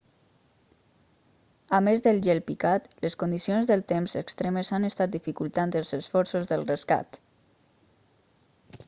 a més del gel picat les condicions del temps extremes han estat dificultant els esforços del rescat